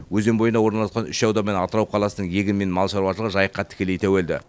өзен бойында орналасқан үш аудан мен атырау қаласының егін мен мал шаруашылығы жайыққа тікелей тәуелді